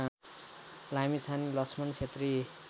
Lamichhane Lakshman Chhetri